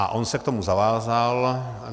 A on se k tomu zavázal.